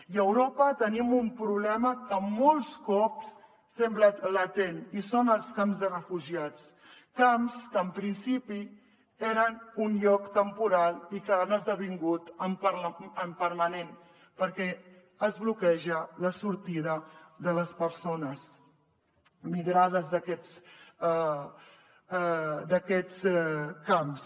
i a europa tenim un problema que molts cops sembla latent i són els camps de refugiats camps que en principi eren un lloc temporal i que han esdevingut permanents perquè es bloqueja la sortida de les persones migrades d’aquests camps